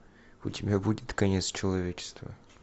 у тебя будет конец человечества